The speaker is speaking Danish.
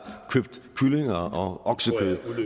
købt kyllinger